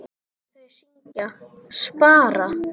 Þau syngja: SPARA!